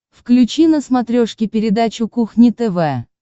включи на смотрешке передачу кухня тв